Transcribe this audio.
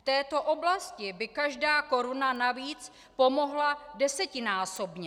V této oblasti by každá koruna navíc pomohla desetinásobně.